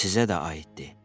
Sizə də aiddir.